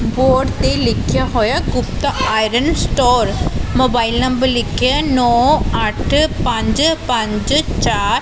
Board ਤੇ ਲਿਖਿਆ ਹੋਇਆ Gupta iron store mobile number ਲਿਖਿਆ ਨੋ ਅੱਠ ਪੰਜ ਪੰਜ ਚਾਰ।